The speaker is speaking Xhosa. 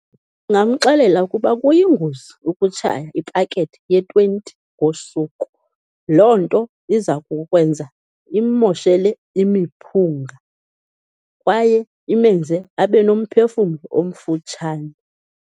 Ndingamxelela ukuba kuyingozi ukutshaya ipakethe ye-twenty ngosuku, loo nto iza kukwenza immoshele imiphunga kwaye imenze abenomphefumlo omfutshane.